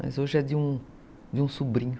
Mas hoje é de um de um sobrinho.